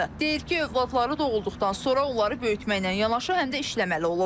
Deyir ki, övladları doğulduqdan sonra onları böyütməklə yanaşı, həm də işləməli olub.